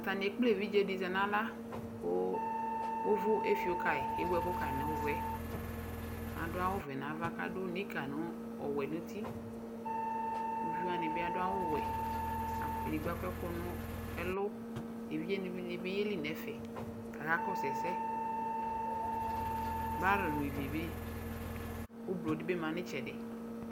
Atanɩ ekple evidze dɩ zɛ naɣla kʋ ʋvʋ efio kayɩ, ewu ɛkʋ ka nʋ ʋvʋɛAdʋ awʋ vɛ nava kadʋ nika n: ɔwɛ nutiUvi wanɩ bɩ adʋ awʋ wɛ, edigbo akɔ ɛkʋ n ɛlʋ, evidze dɩnɩ bɩ yeli nɛfɛBar nɩ dɩ bɩ uvlo dɩ bɩ ma nɩtsɛdɩ